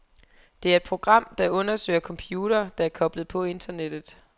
Det er et program, der undersøger computere, der er koblet på internettet.